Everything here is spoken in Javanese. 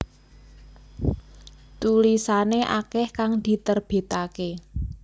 Tulisane akeh kang diterbitake